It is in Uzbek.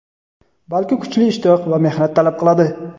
balki kuchli ishtiyoq va mehnat talab qiladi.